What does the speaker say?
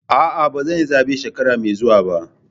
A'a, ba zan yi zabe shekara mai zuwa ba.